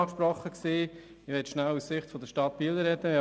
Ich möchte aus Sicht der Stadt Biel sprechen.